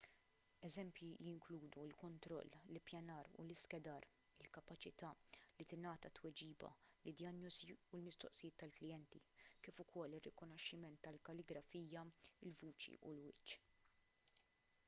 eżempji jinkludu l-kontroll l-ippjanar u l-iskedar il-kapaċità li tingħata tweġiba lid-dijanjosi u l-mistoqsijiet tal-klijenti kif ukoll ir-rikonoxximent tal-kalligrafija il-vuċi u l-wiċċ